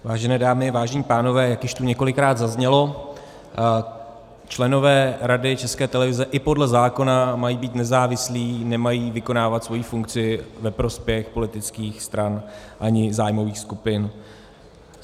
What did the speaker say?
Vážené dámy, vážení pánové, jak již tu několikrát zaznělo, členové Rady České televize i podle zákona mají být nezávislí, nemají vykonávat svoji funkci ve prospěch politických stran ani zájmových skupin.